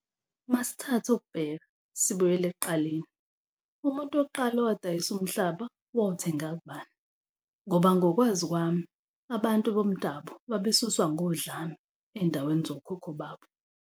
Uma sithatha ukubheka sibuyele ekuqaleni umuntu wokuqala owadayisa umhlaba. Wawuthenga kubani ngoba ngokwazi kwami abantu bomdabu babesuswa ngodlame ey'ndaweni zokhokho babo.